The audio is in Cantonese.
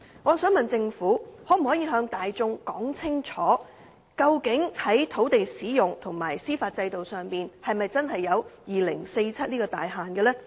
我想問政府，可否向大眾說清楚究竟在土地使用及司法制度上是否真的有2047年這個大限呢？